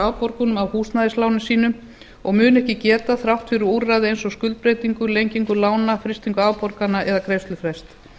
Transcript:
afborgunum af húsnæðislánum sínum og mun ekki geta þrátt fyrir úrræði eins og skuldbreytingu lengingu lána frystingu afborgana eða greiðslufrests